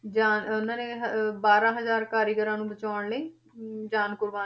ਜਾਣ~ ਉਹਨਾਂ ਨੇ ਅਹ ਬਾਰਾਂ ਹਜ਼ਾਰ ਕਾਰੀਗਰਾਂ ਨੂੰ ਬਚਾਉਣ ਲਈ ਹਮ ਜਾਨ ਕੁਰਬਾਨ,